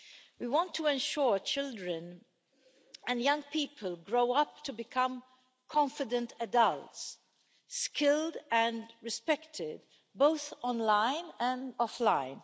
We want to ensure children and young people grow up to become confident adults, skilled and respected both online and offline.